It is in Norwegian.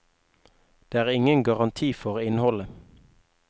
Det er ingen garanti for innholdet.